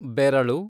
ಬೆರಳು